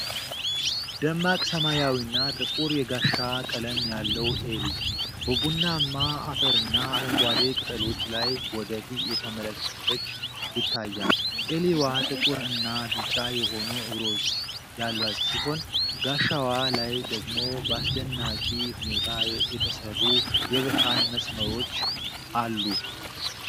ደማቅ ሰማያዊና ጥቁር የጋሻ ቀለም ያለው ኤሊ፤ በቡናማ አፈርና አረንጓዴ ቅጠሎች ላይ ወደ ፊት እየተመለከተች ይታያል። ኤሊዋ ጥቁር እና ቢጫ የሆኑ እግሮች ያሏት ሲሆን፣ ጋሻዋ ላይ ደግሞ በአስደናቂ ሁኔታ የተሰሩ የብርሃን መስመሮች አሉ።